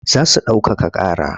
Za su ɗaukaka ƙara.